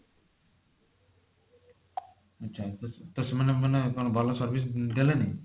ଆଚ୍ଛା ତ ସେମାନେ ମାନେ କଣ ଭଲ service ଦେଲେନି